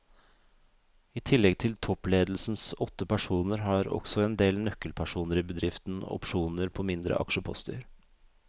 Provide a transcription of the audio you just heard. I tillegg til toppledelsens åtte personer har også en del nøkkelpersoner i bedriften opsjoner på mindre aksjeposter.